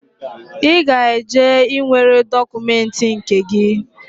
I ga eje ị nwere dokumenti gi